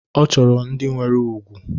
Ọ chọrọ ndị nwere ùgwù